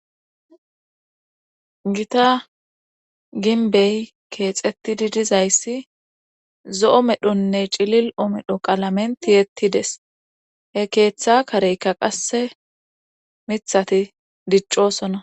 Gita ginbey keexettidi dizayssi zo7o medhonne cilil7o medho qalamentiyettides he keeththa kareykka qasse mithati diccosona.